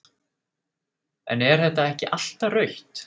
en er þetta ekki alltaf rautt??